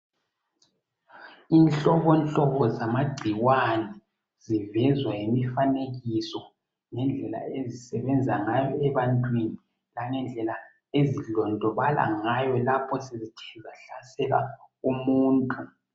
Inhlobohlobo zamagcikwane zivezwa yimifanekiso nhendlela ezisebenza ngayo ebantwini langendlela ezidondobala ngayo lapho sebethe bahlaselwa umuntu.